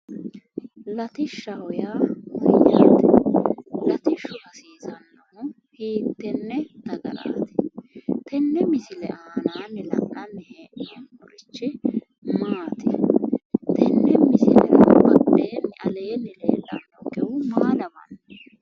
lattishshaho yaa mayyaate? latishshu hiittenne dagaho? misilete aanaanni la'nanni hee'noommorichi maati? tenne misile badheenni leellannonkehu maa lawanno?